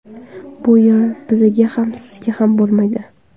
Bu yer bizga ham sizga ham bo‘lmaydi.